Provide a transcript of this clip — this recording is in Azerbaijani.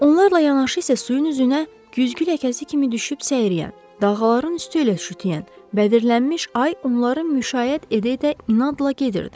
Onlarla yanaşı isə suyun üzünə güzgü ləkəsi kimi düşüb səyriyən, dağların üstü ilə şütüyən bədirlənmiş ay onları müşayiət edə-edə inadla gedirdi.